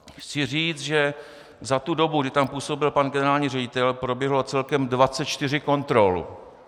Chci říct, že za tu dobu, kdy tam působil pan generální ředitel, proběhlo celkem 24 kontrol.